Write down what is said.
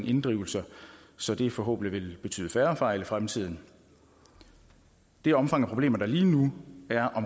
inddrivelser så det forhåbentlig vil betyde færre fejl i fremtiden det omfang af problemer der lige nu er